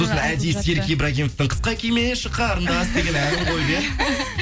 сосын әдейі серік ибрагимовтың қысқа кимеші қарындас деген әнін қойып иә